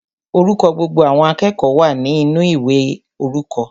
Orúkọ gbogbo àwọn akẹ́kọ̀ọ́ wa ninu ìwé orúkọ.